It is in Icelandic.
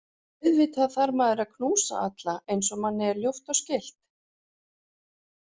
Auðvitað þarf maður að knúsa alla eins og manni er ljúft og skylt.